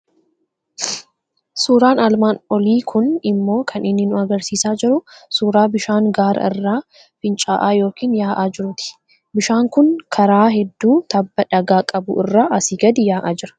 Suuraan armaan olii kun immoo kan inni nu argisiisaa jiru, suuraa bishaan gaara irraa fincaa'aa yookiin yaa'aa jiruuti. Bishaan kun karaa hedduu tabba dhagaa qabu irraa asii gadi yaa'aa jira.